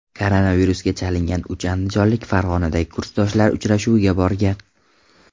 Koronavirusga chalingan uch andijonlik Farg‘onadagi kursdoshlar uchrashuviga borgan.